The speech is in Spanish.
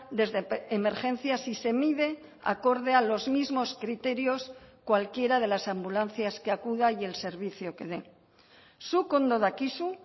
desde emergencias y se mide acorde a los mismos criterios cualquiera de las ambulancias que acuda y el servicio que dé zuk ondo dakizu